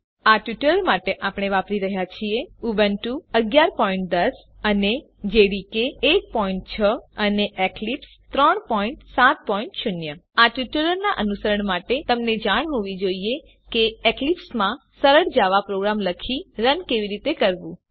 આ ટ્યુટોરીયલ માટે આપણે વાપરી રહ્યા છીએ ઉબુન્ટુ 1110 જેડીકે 16 અને એક્લીપ્સ 370 આ ટ્યુટોરીયલનાં અનુસરણ માટે તમને જાણ હોવી જોઈએ કે એક્લીપ્સમાં સરળ જાવા પ્રોગ્રામ લખી રન કેવી રીતે કરવું